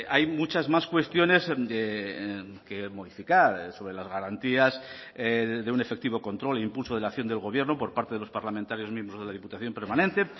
hay muchas más cuestiones que modificar sobre las garantías de un efectivo control e impulso de la acción del gobierno por parte de los parlamentarios miembros de la diputación permanente